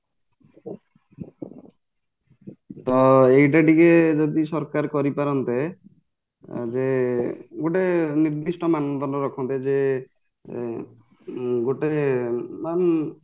ତ ଏଇଟା ଟିକେ ଯଦି ଟିକେ ସରକାର କରିପାରନ୍ତେ ଆଁ ଜେ ଗୋଟେ ନିର୍ଦ୍ଧିଷ୍ଟ ମାନ ଦଣ୍ଡ ରଖନ୍ତେ ଜେ ଏଁ ଉଁ ଗୋଟେ